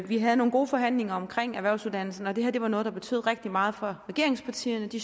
vi havde nogle gode forhandlinger om erhvervsuddannelserne og det her var noget der betød rigtig meget for regeringspartierne de